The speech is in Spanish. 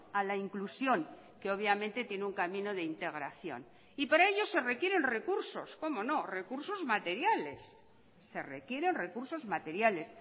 a la inclusión que obviamente tiene un camino de integración y para ello se requieren recursos cómo no recursos materiales se requieren recursos materiales